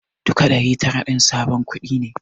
Duka ɗari tara din sabon kuɗi ne.